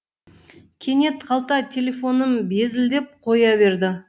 кенет қалта телефоным безілдеп қойаберді